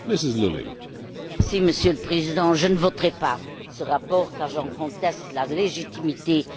Monsieur le Président, je ne voterai pas ce rapport car j'en conteste la légitimité et la légalité.